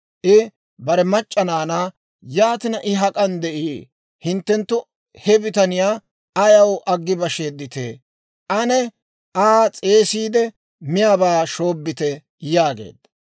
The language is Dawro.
I bare mac'c'a naanaa, «Yaatina I hak'an de'ii? Hinttenttu he bitaniyaa ayaw aggi basheedditee? Ane Aa s'eesiide, miyaabaa shoobbite» yaageedda.